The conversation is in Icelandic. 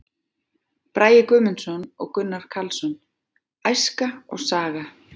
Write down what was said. Bragi Guðmundsson og Gunnar Karlsson: Æska og saga.